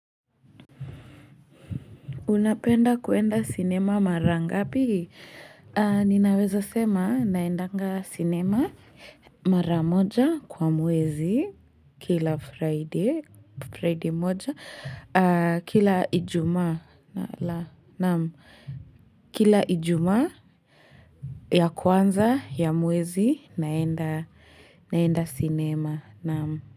Unapenda kuenda sinema mara ngapi? Ninaweza sema naendanga sinema mara moja kwa mwezi kila friday moja kila ijuma. Kila ijuma ya kwanza ya mwezi naenda sinema.